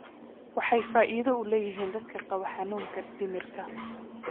Waxay faa'iido u leeyihiin dadka qaba xanuunka dhimirka.